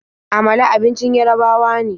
Amala abincin Yarabawa ne.